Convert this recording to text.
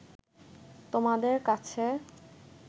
তোমাদের কাছে